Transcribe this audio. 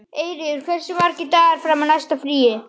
Eyfríður, hversu margir dagar fram að næsta fríi?